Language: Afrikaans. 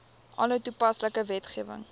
alle toepaslike wetgewing